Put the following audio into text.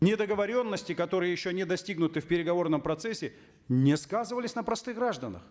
недоговоренности которые еще не достигнуты в переговорном процессе не сказывались на простых гражданах